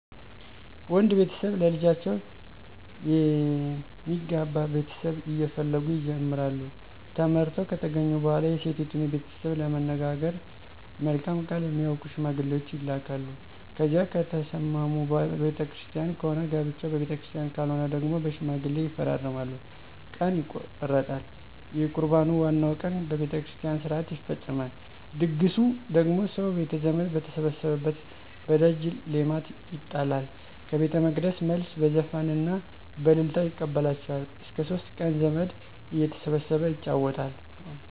ወንድ ቤተሰብ ለልጃቸው የሚገባ ቤተሰብ እየፈለጉ ይጀምራሉ። ተመርጠው ከተገኙ በኋላ የሴቲቱን ቤተሰብ ለመነጋገር መልካም ቃል የሚያውቁ ሸማግሌዎች ይላካሉ። ከዚያ ከተስማሙ በቤተ ክርስቲያን ከሆነ ጋብቻው በቤተክርስቲያን ካልሆነ ደግሞ በሽማግሌ ይፈራረማሉ። ቀን ይቆረጣል። የቁርባኑ ዋናው ቀን በቤተ ክርስቲያን ሥርዓት ይፈፀማል። ድግሱ ደግሞ ሰው ቤተዘመድ በተሰበሰበበት በደጅ ሌማት ይጣላል። ከቤተመቅደስ መልስ በዘፈንና በእልልታ ይቀበላቸዋል። እስከ ሶስት ቀን ዘመድ እየተሰበሰበ ይጫወታል።